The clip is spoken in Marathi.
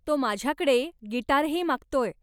तो माझ्याकडे गिटारही मागतोय.